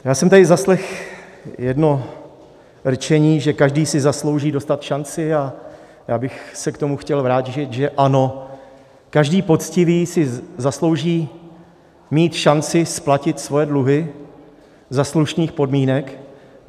Já jsem tady zaslechl jedno rčení, že každý si zaslouží dostat šanci, a já bych se k tomu chtěl vrátit, že ano, každý poctivý si zaslouží mít šanci splatit svoje dluhy za slušných podmínek.